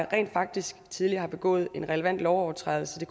rent faktisk tidligere har begået en relevant overtrædelse